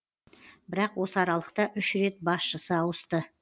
бірақ осы аралықта үш рет басшысы ауысты